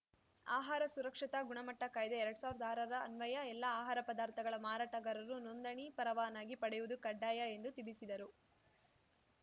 ಆಹಾರ ಸುರಕ್ಷತಾ ಗುಣಮಟ್ಟಕಾಯ್ದೆ ಎರಡ್ ಸಾವ್ರ್ದ ಆರರ ಅನ್ವಯ ಎಲ್ಲಾ ಆಹಾರ ಪದಾರ್ಥಗಳ ಮಾರಾಟಗಾರರು ನೋಂದಣಿ ಪರವಾನಗಿ ಪಡೆಯುವುದು ಕಡ್ಡಾಯ ಎಂದು ತಿಳಿಸಿದರು